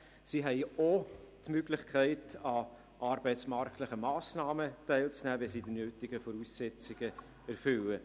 Sie haben auch die Möglichkeit, an arbeitsmarktlichen Massnahmen teilzunehmen, wenn sie die nötigen Voraussetzungen erfüllen.